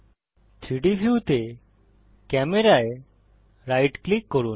3ডি ভিউতে ক্যামেরা এ রাইট ক্লিক করুন